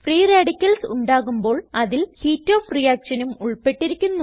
free radicals ഉണ്ടാകുമ്പോൾ അതിൽ heat of reactionനും ഉൾപ്പെട്ടിരിക്കുന്നു